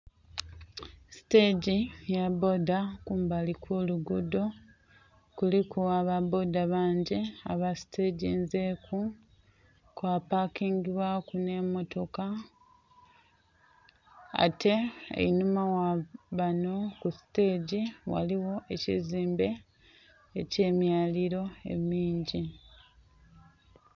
Sitegi eya bboda. Kumbali kw'oluguudho kuliku aba bboda bangi aba siteginzeeku kwa pakingibwaku nh'emmotoka. Ate einhuma gha banho ku sitegi ghaligho ekizimbe eky'emyaliilo emingi.